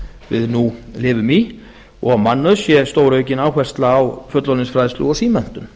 við nú lifum í og mannauðs sé stóraukin áhersla á fullorðinsfræðslu og símenntun